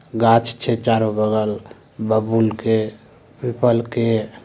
गाछ छै चारों बगल बबूल के पीपल के।